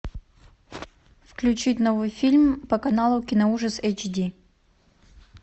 включить новый фильм по каналу киноужас эйч ди